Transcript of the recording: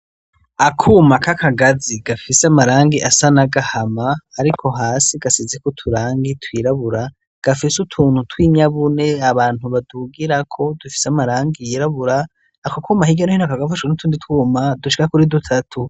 Akuma k'akagazi gafise amarangi asa n'agahama ariko hasi gasizeko uturangi twirabura, gafise utuntu twinyabune abantu badugirako dufise amarangi yirabura, ako kuma hirya no hino kakaba gafashwe n'utundi twuma dushika kuri dutatu.